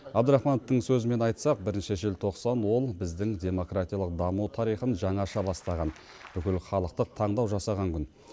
абдрахмановтың сөзімен айтсақ бірінші желтоқсан ол біздің демократиялық даму тарихын жаңаша бастаған бүкілхалықтық таңдау жасалған күн